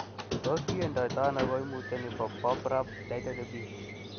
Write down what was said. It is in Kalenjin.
Tos kindiotono koimutioni bobrachydactyly type B ?